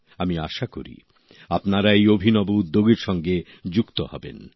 আমি আশা করি আপনারা এই অভিনব উদ্যোগের সঙ্গে যুক্ত হবেন